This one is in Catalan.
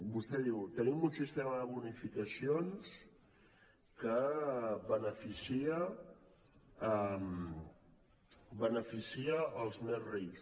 vostè diu tenim un sistema de bonificacions que beneficia els més rics